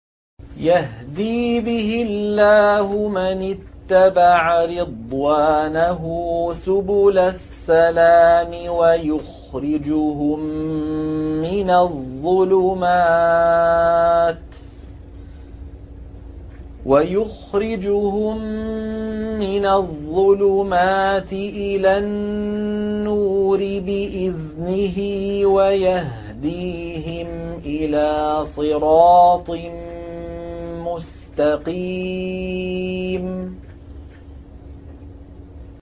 يَهْدِي بِهِ اللَّهُ مَنِ اتَّبَعَ رِضْوَانَهُ سُبُلَ السَّلَامِ وَيُخْرِجُهُم مِّنَ الظُّلُمَاتِ إِلَى النُّورِ بِإِذْنِهِ وَيَهْدِيهِمْ إِلَىٰ صِرَاطٍ مُّسْتَقِيمٍ